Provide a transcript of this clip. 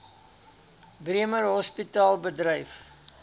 bremer hospitaal bedryf